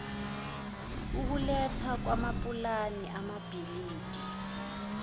ukulethwa kwamapulani amabhilidi